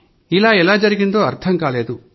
ఇట్లా ఎట్లా జరిగిందో అర్థం కాలేదు